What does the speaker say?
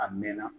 A mɛnna